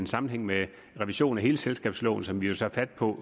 sammenhæng med revisionen af hele selskabsloven som vi jo tager fat på